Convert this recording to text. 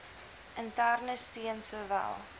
interne steun sowel